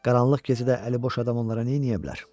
Qaranlıq gecədə əliboş adam onlara neyniyə bilər?